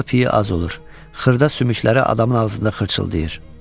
Yağı piy az olur, xırda sümükləri adamın ağzında xırtıldayır.